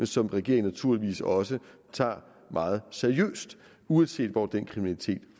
som regeringen naturligvis også tager meget seriøst uanset hvor den kriminalitet